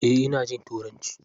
Eh ina jin turanci.